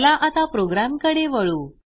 चला आता प्रोग्रॅमकडे वळू